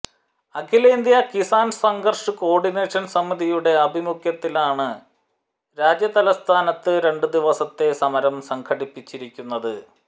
അഖിലേന്ത്യാ കിസാൻ സംഘർഷ് കോർഡിനേഷൻ സമിതിയുടെ ആഭിമുഖ്യത്തിലാണ് രാജ്യതലസ്ഥാനത്ത് രണ്ട് ദിവസത്തെ സമരം സംഘടിപ്പിച്ചിരിക്കുന്നത്